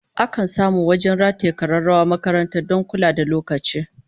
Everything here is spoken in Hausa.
Akan samu wajen rataye kararrawar makaranta don kula da lokaci